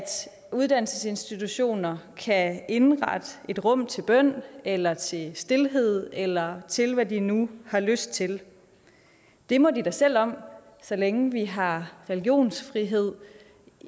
uddannelsesinstitutioner kan indrette et rum til bøn eller til stilhed eller til hvad de nu har lyst til det må de da selv om så længe vi har religionsfrihed